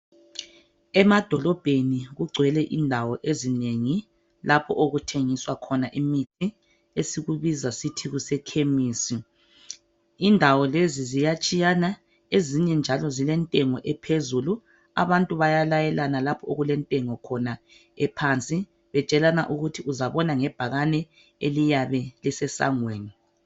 Emadolobheni kugwele indawo ezinengi lapho okuthengiswa khona imithi esikubiza sithi kusekhemisi. Indawo lezi ziyatshiyana ezinye njalo zilentengo ephezulu abantu bayalayela lapho okulentengo khona ephansi betshelana ukuthi uzabona ngebhakane eliyabe lisesangweni.